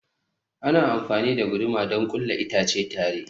Ana amfani da guduma don ƙulla itace tare.